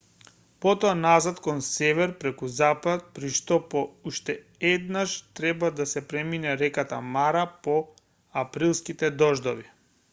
потоа назад кон север преку запад при што по уште еднаш треба да се премине реката мара по априлските дождови